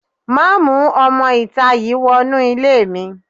Má mú ọmọ-ìta yìí wọnú ilé mi